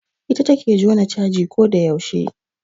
Ita take jona caji ko da yaushe